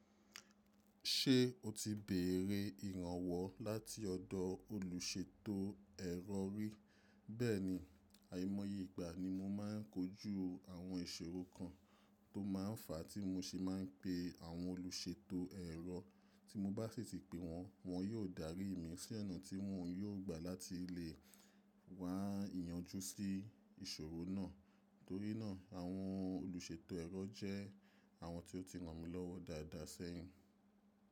Ṣé o ti bèrè ìrànwọ́ láti ọ̀dọ̀ olùṣètò ẹ̀rọ rí? Bẹ́ẹ̀ni, àìmọye ìgbà ni mo máa ń kojú àwọn ìṣòro kan tó máa ń fà á tí mo ṣe máa ń pe àwọn olùṣètò ẹ̀rọ. Tí mo bá sì ti pe wọ́n, wọ́n yóò darí mi sí onà tí wọn yóò gbà láti lè wá iyanjú sí ìṣòro náà. Torí náà, àwọn olùṣètò ẹ̀rọ jẹ́ àwọn tí ó ti ràn mí lọ́wọ́ dáadáa sẹ́yìn.